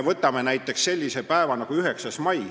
Võtame näiteks sellise päeva nagu 9. mai.